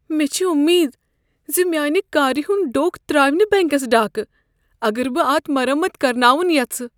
مےٚ چھ امید ز میٛانہ كارِ ہنٛد ڈوٚکھ تراو نہٕ بینٛكس ڈاكہ اگر بہٕ اتھ مرمت كرناون ییٚژھ۔